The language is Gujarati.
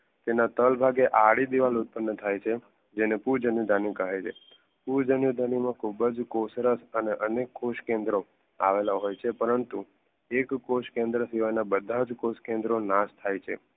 તેના થડ ભાગે આડી દીવાલ ઉત્પન્ન થાય છે ને પૂજ અને ધાની કહે છે. પૂજ અને ધાની માં ખુબજ અને અનેક કોષ કેન્દ્રો આવેલા હોય છે પરંતુ એકકોષ કેન્દ્રો બધા જ કોષ કેન્દ્રો નાશ થાય છે